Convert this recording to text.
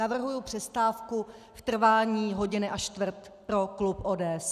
Navrhuji přestávku v trvání hodiny a čtvrt pro klub ODS.